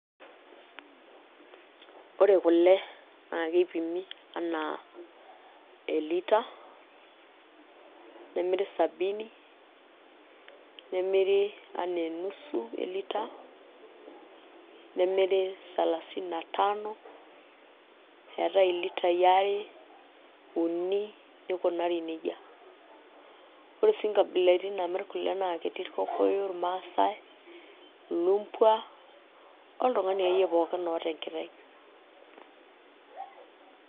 Ore kule naa keipimi enaa elita nemiri sabini, nemiri enaa enusu elita nemiri salasini na tano eetai ilitai are, uni nikunari neija ore sii nkabilaitin naamirr kule naa ketii irkokoyo, irmaasai, ilumbwa oltung'ani akeyie pookin oota enkiteng'.